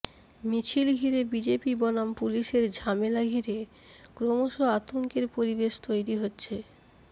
মিছিল ঘিরে বিজেপি বনাম পুলিশের ঝামেলা ঘিরে ক্রমশ আতঙ্কের পরিবেশ তৈরি হচ্ছে